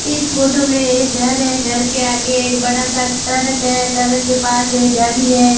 इस फोटो में ये घर हैं घर के आगे एक बड़ा सा टरक हैं टरक के पास एक गाड़ी हैं।